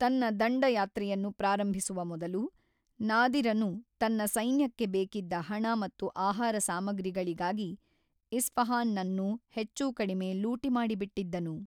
ತನ್ನ ದಂಡಯಾತ್ರೆಯನ್ನು ಪ್ರಾರಂಭಿಸುವ ಮೊದಲು, ನಾದಿರನು ತನ್ನ ಸೈನ್ಯಕ್ಕೆ ಬೇಕಿದ್ದ ಹಣ ಮತ್ತು ಆಹಾರ ಸಾಮಗ್ರಿಗಳಿಗಾಗಿ ಇಸ್ಫಹಾನ್‌ನನ್ನು ಹೆಚ್ಚೂಕಡಿಮೆ ಲೂಟಿ ಮಾಡಿಬಿಟ್ಟಿದ್ದನು.